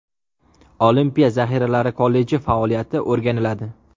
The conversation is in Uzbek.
Olimpiya zaxiralari kolleji faoliyati o‘rganiladi.